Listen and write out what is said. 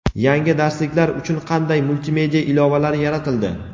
Yangi darsliklar uchun qanday multimedia ilovalari yaratildi?.